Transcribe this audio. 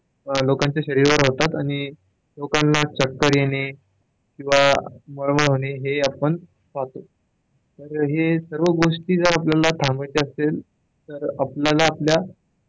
लोकांच्या शरीरावर होतात आणि लोकांना चक्कर येणे किंवा मळमळ होणे हे आपण पाहतो तर हे सर्व गोष्टी जर आपल्याला थांबवायच्या असतील तर आपणाला आपल्या,